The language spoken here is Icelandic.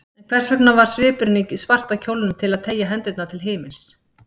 En hvers vegna var svipurinn í svarta kjólnum að teygja hendurnar til himins?